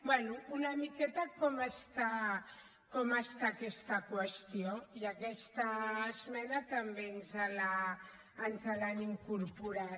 bé una miqueta com està aquesta qüestió i aquesta esmena també ens l’han incorporat